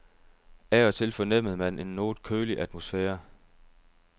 Af og til fornemmede man en noget kølig atmosfære.